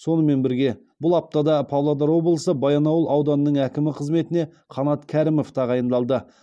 сонымен бірге бұл аптада павлодар облысы баянауыл ауданының әкімі қызметіне қанат кәрімов тағайындалды